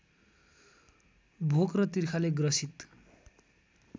भोक र तिर्खाले ग्रसित